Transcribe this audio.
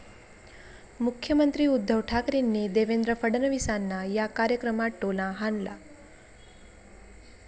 मुख्यमंत्री उद्धव ठाकरेंनी देवेंद्र फडणवीसांना या कार्यक्रमात टोला हाणला.